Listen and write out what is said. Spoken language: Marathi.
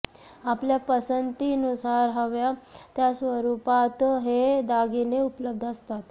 आपल्या पसंतीनुसार हव्या त्या स्वरूपात हे दागिने उपलब्ध असतात